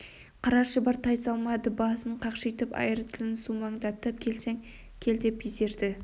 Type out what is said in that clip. қара шұбар тайсалмады басын қақшитып айыр тілін сумаңдатып келсең кел деп безерді